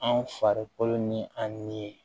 An farikolo ni an ni